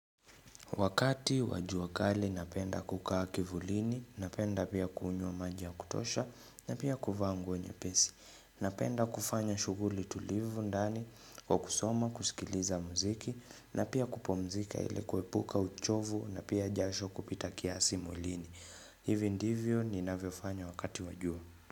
Wakati wa jua kali napenda kukaa kivulini, napenda pia kuunywa maji ya kutosha, napia kuvaa nguo nye pesi, napenda kufanya shuguli tulivu ndani, kwa kusoma, kusikiliza muziki, napia kupumzika ile kuepuka uchovu, napia jasho kupita kiasi mwilini. Hivi ndivyo ni naviofanya wakati wajua.